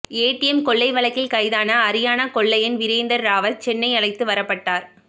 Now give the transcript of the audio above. ATM கொள்ளை வழக்கில் கைதான அரியானா கொள்ளையன் விரேந்தர் ராவத் சென்னை அழைத்து வரப்பட்டார்